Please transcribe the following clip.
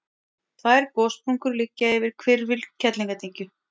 tvær gossprungur liggja yfir hvirfil kerlingardyngju